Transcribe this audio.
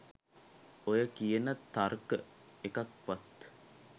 ඔය කියන තර්ක එකක්වත්